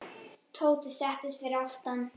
Oftast var það ekki hægt.